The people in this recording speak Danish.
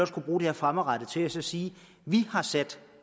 kunne bruge det her fremadrettet til at sige vi har sat